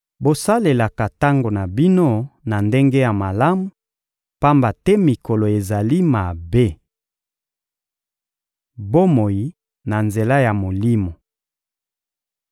Bosalelaka tango na bino na ndenge ya malamu, pamba te mikolo ezali mabe. Bomoi na nzela ya Molimo